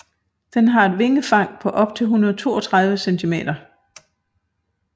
Den har et vingefang på op til 132 centimeter